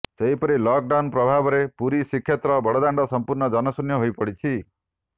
ସେହିପରି lockdown ପ୍ରଭାବରେ ପୁରୀ ଶ୍ରୀକ୍ଷେତ୍ର ବଡ଼ଦାଣ୍ଡ ସମ୍ପୂର୍ଣ୍ଣ ଜନଶୂନ୍ୟ ହୋଇପଡ଼ିଛି